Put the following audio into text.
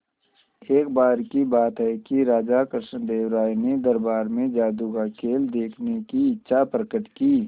एक बार की बात है कि राजा कृष्णदेव राय ने दरबार में जादू का खेल देखने की इच्छा प्रकट की